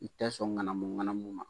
I tɛ sɔn ŋanamu ŋanamu ma.